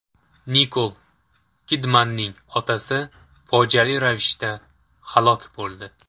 Nikol Kidmanning otasi fojiali ravishda halok bo‘ldi.